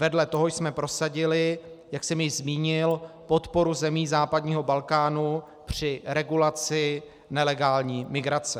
Vedle toho jsme prosadili, jak jsem již zmínil, podporu zemí západního Balkánu při regulaci nelegální migrace.